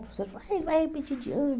O professor falou, vai repetir de ano.